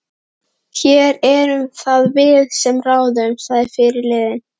Jón stóð seinlega á fætur og klóraði sér í skallanum.